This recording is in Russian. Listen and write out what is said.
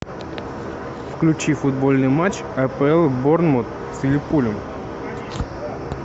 включи футбольный матч апл борнмут с ливерпулем